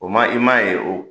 O ma i m'a ye o